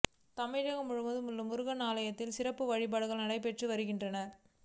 தமிழகம் முழுவதும் உள்ள முருகன் ஆலயங்களில் சிறப்பு வழிபாடுகள் நடைபெற்று வருகின்றனர்